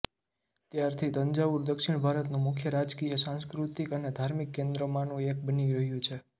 ત્યારથી તંજાવુર દક્ષિણ ભારતનું મુખ્ય રાજકીય સાંસ્કૃતિક અને ઘાર્મિક કેન્દ્રમાંનું એક બની રહ્યું છે